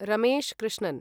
Ramesh Krishnan